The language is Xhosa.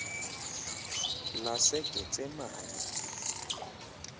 lasegetsemane